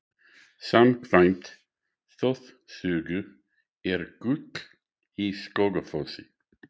Samkvæmt þjóðsögu er gull í Skógafossi.